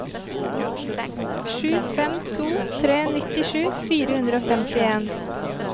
sju fem to tre nittisju fire hundre og femtien